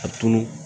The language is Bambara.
A tulu